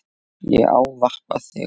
Ég ávarpa þig